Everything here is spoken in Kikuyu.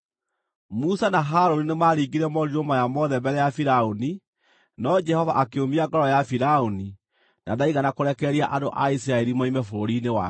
Musa na Harũni nĩmaringire morirũ maya mothe mbere ya Firaũni, no Jehova akĩũmia ngoro ya Firaũni, na ndaigana kũrekereria andũ a Isiraeli moime bũrũri-inĩ wake.